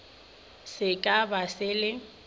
se ka ba se le